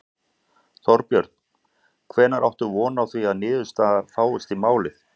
Þorbjörn: Hvenær áttu von á því að niðurstaða fáist í málið?